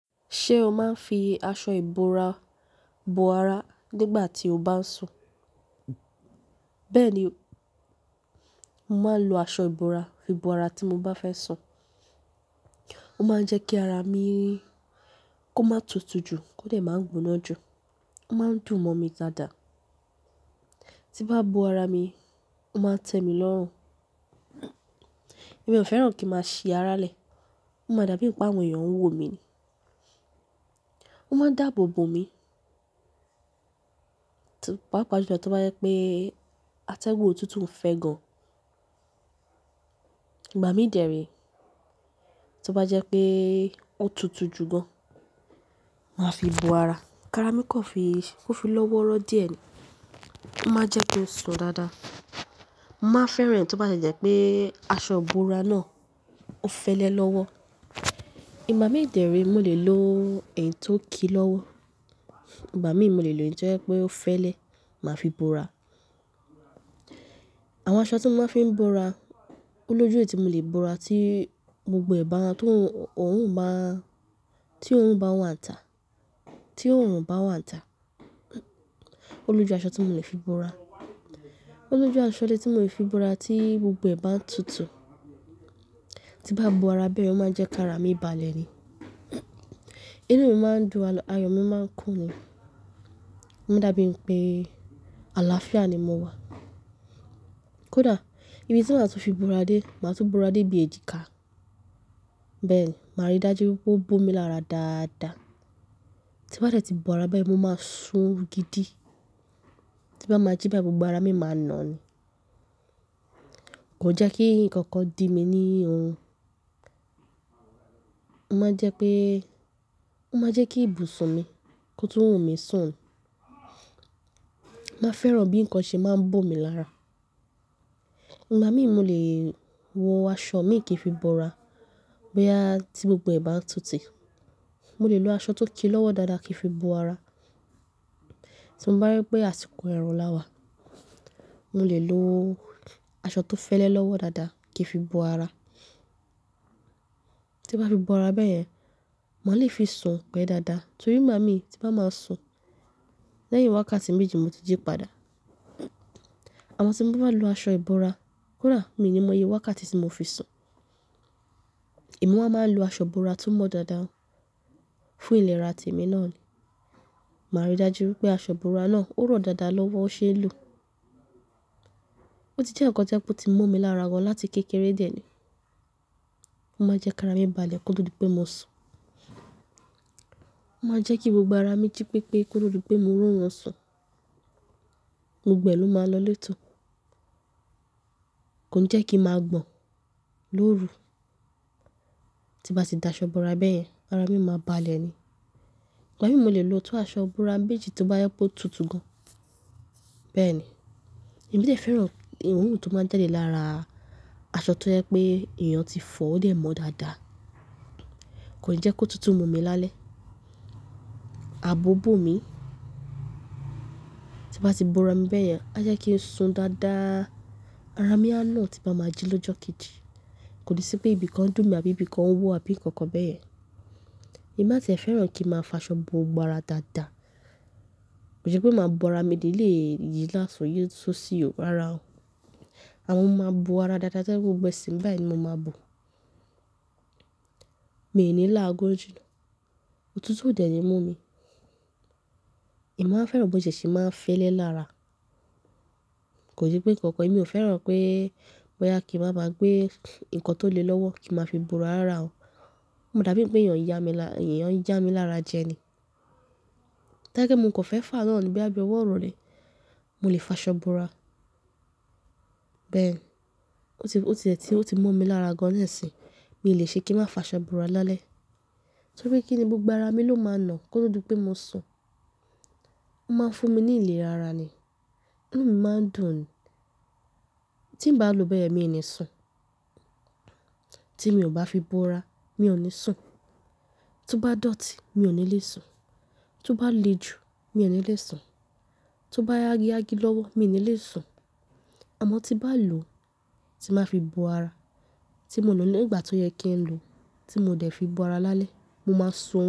Ṣé o máa ń fi aṣọ ìbora bo ara nígbà tí o bá ń sùn? Bẹ́ẹ̀ni, mo máa ń lo aṣọ ìbora fi bo ara tí mo bá fẹ́ sùn. Ó máa ń jẹ́ kí ara mi kó má tutù jù kó dẹ̀ má ń gbóná jù. Ó máa ń dùn mọ́ mi dáadáa. Tí bá bo ara mi, ó máa ń tẹ mí lọ́rùn. Èmi ò fẹ́ràn kí máa ṣi ara lẹ̀. Ó máa dàbí ìpá wọn, èèyàn ń wò mí ni. Ó máa ń dáàbò bò mi. Pàápàá jùlọ tí ó bá jẹ́ pé atẹ́gùn ò tútù ún fẹ́ gan. Ìgba mi dèré. Tí ó bá jẹ́ pé ó tutù jù gan, màá fi bo ara. Ara mi kò fi, kò fi lọ́wọ́rọ́ díẹ̀ ni. Ó máa ń jẹ́ ki n sùn dáadáa. Mọ̀ má fẹ́ràn tí ó bá ṣẹ̀ jẹ́ pé aṣọ ìbora náà ó fẹ́lẹ́ lọ́wọ́. Igab mi dèré, mo lè lo èyí tó ki lọ́wọ́. Igba mi, mo lè lo èyí tó jẹ́ pé ó fẹ́lẹ́, màá fi bo ara. Àwọn aṣọ tí mo máa ń fi bo ara, olójú èyiti mo lè bo ara tí gbogbo ẹ̀ bá ń tún, òún bá, tí òún bá wani ita, tí òorun bá wani ita Olójú aṣọ tí mò lè fi bo ara. Olójú aṣọ de tí mò lè fi bo ara tí gbogbo ẹ̀ bá ń tutù. Tí mo bá bo ara bẹ́ẹ̀, ó máa ń jẹ́ kí ara mi balẹ̀ ni. Inú mi máa ń dùn, ayọ̀ mi máa ń kùn ni. Ó máa n dàbí pé àlàáfíà ni mo wà. Kódà, ìbí tí màá tó fi bo ara dé, màá tún bo ara dé bí èjìká. Bẹ́ẹ̀ ni, màá rí dájú wípé ó bo mi lára dáadáa. Tí bá dẹ̀ ti bo ara bẹ́ẹ̀, mo máa sùn orun gidi. Tí mo bá máa jí báyìí gbogbo ara mi máa nà ni. Kò jẹ́ kí nǹkan kan di mi ní orun Ó máa jẹ́ pé, ó máa jẹ́ kí ibùsùn mi kó tún wumi sùn. Mọ́ fẹ́ràn bí ǹkan ṣe máa ń bo mi lára. Igba mi, mo lè wọ aṣọ mi kìí fi bo ara, bóyá tí gbogbo ẹ̀ bá ń tutù. Mo lè lo aṣọ tó ki lọ́wọ́ dáadáa kìí fi bo ara. Tí mo bá rí pé àsìkò ẹ̀rùn lá wà, mo lè lo aṣọ tó fẹ́lẹ́ lọ́wọ́ dáadáa kìí fi bo ara. Tí mo bá fi bo ara bẹ́ẹ̀ yẹn, maa lè fi sùn pẹ̀ dáadáa. Torí igba mi tí mo bá máa sùn, lẹ́yìn wákàtí méjì mo ti jí padà. Àmọ́ tí mo bá lo aṣọ ìbora kódà, mi ò ní mọye wákàtí tí mo fi sùn. Èmi wa máa ń lo aṣọ ìbora ti o mọ́ dáadáa fún ìlera ti èmi náà ni. Màá rí dájú wípé aṣọ ìbora náà ó rọ̀ dáadáa lọ́wọ́ ó ṣe é lo Ó ti jẹ́ ǹkan tí ó ti mo mi lára gan láti kékeré dè ẹ́ ni. Ó máa ń jẹ́ kí ara mi balẹ̀ ki o to di pé mo sùn. Ó máa ń jẹ́ kí gbogbo ara mi jí pépé ki o to di wipé mo ri orun sùn. Gbogbo ẹ ló máa ń lọ létò Kò n jẹ́ kí màá gbọ̀n lóru. Tí mo bá ti da aṣọ bora bẹ́ẹ̀ yẹn, ara mi máa balẹ̀ ni. Igab mi mò lè lo tó aṣọ ìbora méjì tí ó bá je wipe o tutù gan. Bẹ́ẹ̀ ni. Èmi sì fẹ́ràn oorun ti ó máa ń jade lára aṣọ ti ó jẹ́ pé èèyàn ti fọ̀ ó dẹ̀ mọ́ dáadáa. Kò n jẹ́ ki otutù mú mi lálẹ́. A bò bó mi. Tí n bá ti bo ara mi bẹ́ẹ̀ yẹn, a jẹ́ kí n sùn dáadáa. Ara mi á nà tí n bá máa jí lọ́jọ́ kejì. Kò ni sí pé ibìkan dùn mi àbí ibìkan ń wò àbí ǹkan kan bẹ́ẹ̀ yẹn. Èmi má fẹ́ràn kí màá fi aṣọ bo gbogbo ara dáadáa. Ko ki n se pé màá bo ara mi ti mi o ni yìí lati otun yìí sì ósi o rara o. Àmọ́ mo máa bo ara dáadáa tí o je pe gbogbo ẹṣe báyìí ni mo máa bo. Mi ò ní là á gun ju Ó tutù òdẹ̀ ni mú mi. Èmi máa ń fẹ́ràn bó ti e ṣe máa ń fẹ́lẹ́ lára. Kò se pé ǹkan kan èmi ò fẹ́ràn pé bóyá kí màá máa gbé ǹkan tó le lọ́wọ́ kí màá fi bo ara rara o. Ó maa dàbí pé èèyàn ń yá mi lá, èèyàn ń ja mi lára jẹ ni. Ti o ba je wipe mò kan fe fà án náà ní bí ọwọ́ irole Mo lè fa aṣọ ìbora. Bẹ́ẹ̀ ni. Ó ti, ó ti e tí ó ti mo mi lára gan ni isin Mi ò lè ṣe kí màá fi aṣọ bora lálẹ́. Torí kí ni gbogbo ara mi ló máa nà kl o to di pé mo sùn. Ó máa ń fún mi ní ilé rara ni. Inú mi máa ń dùn ni Tí n bá lò ó bẹ́ẹ̀ yen mi ò ní sùn. Tí mi ò bá fi bo ara, mi ò ní sùn. Tí ó bá dọ̀tí, mi ò ní lè sùn. Tí ó bá le jù, mi ò ní lè sùn. Tí ó bá ya yagi yagi lọ́wọ́, mi ò ní lè sùn. Àmọ́ tí bá lò ó, tí màá fi bo ara, tí mo nà ní ìgbà tó yẹ kí n lò ó, tí mo dẹ̀ fi bo ara lálẹ́, mo máa sùn.